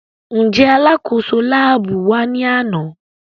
Njẹ alakoso laabu wa ni ana?